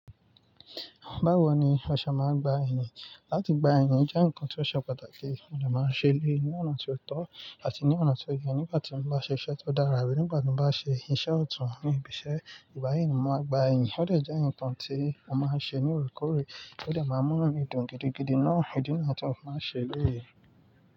Báwo ni ọ̀ se máa ń gba iyìn? Láti gba iyìn jẹ́ nǹkan tí ó ṣe pàtàkì, mo dè máa n ṣe eleyii ní ọ̀nà tí ó tọ́ àti ní ọ̀nà tí ó ye. Nígbà tí mo bá ṣe iṣẹ́ tó dára rí, nígbà tí mo bá ṣe iṣẹ́ ọ̀tún, níbi iṣẹ́ ìgbàyìn, mo máa gba iyìn. Ó lè jẹ́ nǹkan tí mo máa ń ṣe ní òorekoore, ti o dẹ máa mú nu mi dùn gidigidi náà. Ó jẹ nǹkan tí mo máa ń ṣe léyé.